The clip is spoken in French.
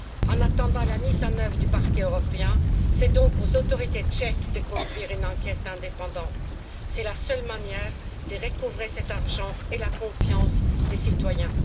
En attendant la mise en œuvre du Parquet européen, c'est donc aux autorités tchèques de conduire une enquête indépendante, c'est la seule manière de recouvrer cet argent et la confiance des citoyens.